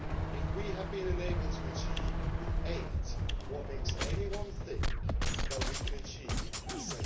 If we have been unable to achieve the eight, what makes anyone think that we can achieve the